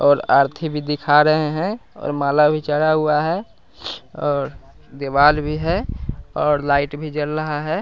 और आरती भी दिखा रहे हैं और माला भी चढ़ा हुआ है और दीवाल भी है और लाइट भी जल रहा है।